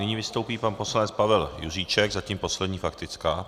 Nyní vystoupí pan poslanec Pavel Juříček - zatím poslední faktická.